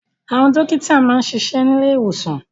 Àwọn dókítà máa ń ṣiṣẹ́ ní ilé ìwòsàn